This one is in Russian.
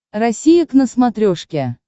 россия к на смотрешке